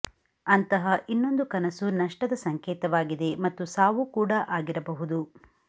ಅಂತಹ ಇನ್ನೊಂದು ಕನಸು ನಷ್ಟದ ಸಂಕೇತವಾಗಿದೆ ಮತ್ತು ಸಾವು ಕೂಡ ಆಗಿರಬಹುದು